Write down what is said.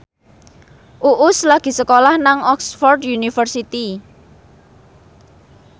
Uus lagi sekolah nang Oxford university